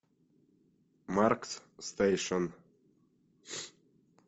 маркс стейшен